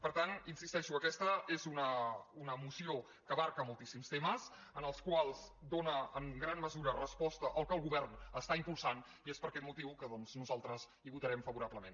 per tant hi insisteixo aquesta és una moció que abasta moltíssims temes en els quals dóna en gran mesura resposta al que el govern està impulsant i és per aquest motiu que doncs nosaltres hi votarem favorablement